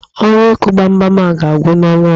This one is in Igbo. Ọrụ ịkụ gbamgbam a ga-agwụ n'ọnwa ọzọ